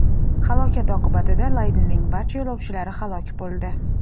Halokat oqibatida laynerning barcha yo‘lovchilari halok bo‘ldi .